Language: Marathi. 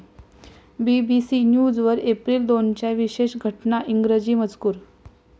बीबीसी न्यूज वर एप्रिल दोनच्या विशेष घटना इंग्रजी मजकूर